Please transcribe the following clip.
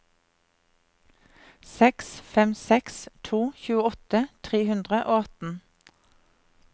seks fem seks to tjueåtte tre hundre og atten